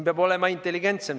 Peab olema intelligentsem.